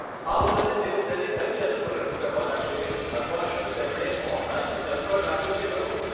આ વખતે તેઓ તેને કઈ ચેનલ પર રજૂ કરવાના છે અથવા શું તેમણે ઓનલાઈન વિકલ્પ પણ રાખ્યો છે ખરો?